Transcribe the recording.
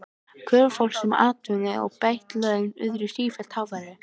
Kröfur fólks um atvinnu og bætt laun urðu sífellt háværari.